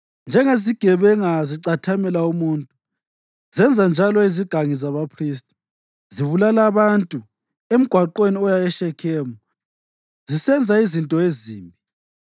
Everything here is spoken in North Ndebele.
Njengezigebenga zicathamela umuntu, zenzanjalo izigangi zabaphristi; zibulala abantu emgwaqweni oya eShekhemu zisenza izinto ezimbi.